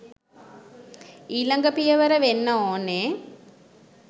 ඊළඟ පියවර වෙන්න ඕනෙ